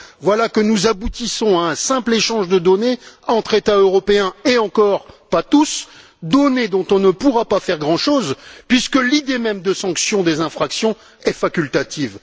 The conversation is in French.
voilà que nous aboutissons à un simple échange de données entre États européens et encore pas tous données dont on ne pourra pas faire grand chose, puisque l'idée même de sanctions est facultative.